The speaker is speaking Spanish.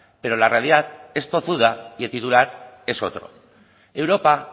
pero la realidad es tozuda y el titular es otro europa